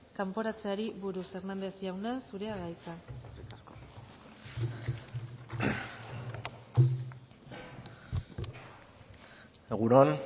kanporatzeari buruz hernández jauna zurea da hitza egun on